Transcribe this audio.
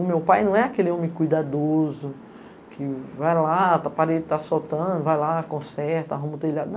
O meu pai não é aquele homem cuidadoso, que vai lá, a parede tá soltando, vai lá, conserta, arruma o telhado.